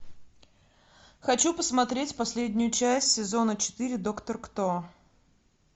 хочу посмотреть последнюю часть сезона четыре доктор кто